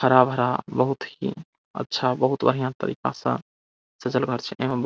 हरा-भरा बहूत ही अच्छा बहूत बढ़िया तरीका से सजल घर छे एवं ब --